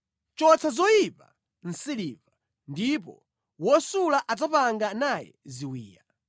Chotsa zoyipa mʼsiliva ndipo wosula adzapanga naye ziwiya.